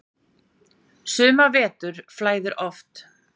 Suma vetur flæðir oft